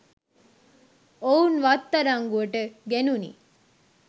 ඔවුන්ව අත්අඩංගුවට ගැනුනි